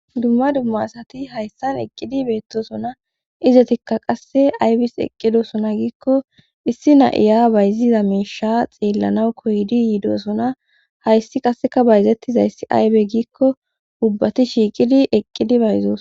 dumma dumma asati hayssan eqqidi beettosona izetikka qasse aybis eqqidosona giikko issi na7iya bayziza meisha xeellanaw koydi yiidosona hayssi qasseka bayzettizayssi aybe giikko ubbati shiiqidi eqqidi bayzoos